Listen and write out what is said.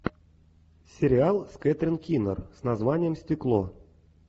сериал с кэтрин кинер с названием стекло